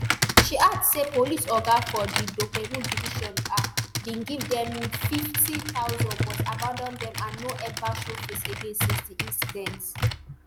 she add say police oga for di dopemu division um bin give am nfifty thousand but abandon dem and no eva show face again since di incident